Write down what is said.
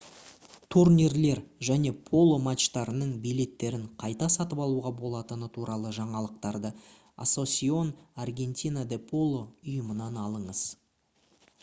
турнирлер және поло матчтарының билеттерін қайта сатып алуға болатыны туралы жаңалықтарды asociacion argentina de polo ұйымынан алыңыз